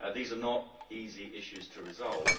These are not easy issues to resolve.